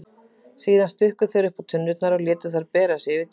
Síðan stukku þeir uppá tunnurnar og létu þær bera sig yfir djúpin.